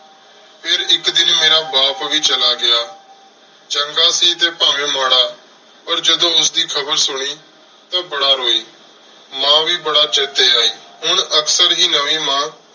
ਫੇਰ ਇਕ ਦਿਨ ਮੇਰਾ ਬਾਪ ਵੀ ਚਲਾ ਗਯਾ ਚੰਗਾ ਸੀ ਟੀ ਪੰਵ੍ਯ ਮਰਾ ਪਰ ਜਦੋਂ ਉਸਦੀ ਖਬਰ ਸੁਨੀ ਟੀ ਬਾਰਾ ਰੋਈ ਮਾਂ ਵ ਬਾਰਾ ਛੇਤੀ ਆਈ ਹੁਣ ਅਕਸਰ ਹੇ